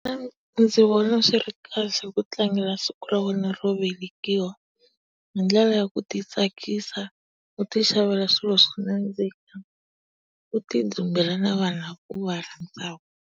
ndzi vona swi ri kahle ku tlangela siku ra wena ro velekiwa hi ndlela ya ku ti tsakisa u ti xavela swilo swo nadzika, u ti dzumbela na vanhu lava u va rhandzaka.